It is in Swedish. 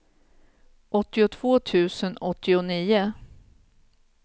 åttiotvå tusen åttionio